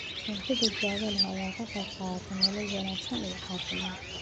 Cunto badbaado leh ayaa ka qayb qaadata nolol wanaagsan iyo caafimaad.